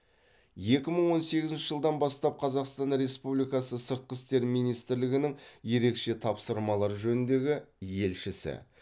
екі мың он сегізінші жылдан бастап қазақстан республикасы сыртқы істер министрлігінің ерекше тапсырмалар жөніндегі елшісі